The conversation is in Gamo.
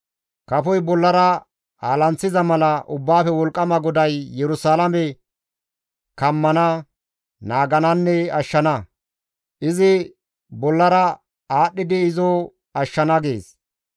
Kafoy bollara aalanththiza mala Ubbaafe Wolqqama GODAY Yerusalaame kammana, naagananne ashshana; izi bollara aadhdhidi izo ashshana» gees.